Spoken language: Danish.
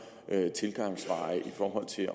tilgangsveje i forhold til at